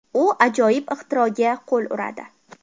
U ajoyib ixtiroga qo‘l uradi.